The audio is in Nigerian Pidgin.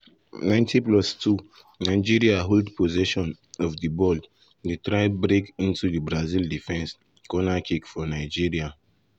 90+ 2 nigeria hold possession of di ball dey try break into di brazil defence corner kick for nigeria.